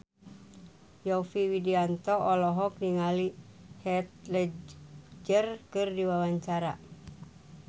Yovie Widianto olohok ningali Heath Ledger keur diwawancara